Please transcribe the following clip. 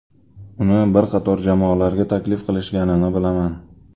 Uni bir qator jamoalarga taklif qilishganini bilaman.